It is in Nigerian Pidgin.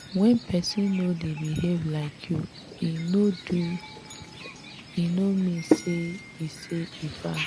wen pesin no dey behave like you dey do e no mean say e say e bad.